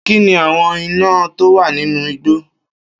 Kín ni àwọn iná tówà nínú igbó.